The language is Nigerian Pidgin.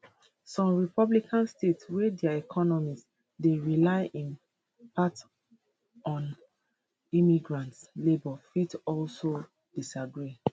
some republican states wey dia economies dey rely in part on immigrant labour fit also disagree